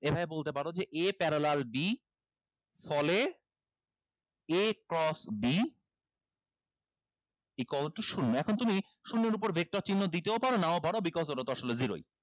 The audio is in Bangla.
এভাবে বলতে পারো a parallel b ফলে a cross b equal to শুন্য এখন তুমি শূন্যর উপর vector চিহ্ন দিতেও পারো নাও পারো because ওটাতো আসলে zero ই